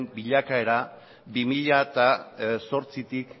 bilakaera bi mila zortzitik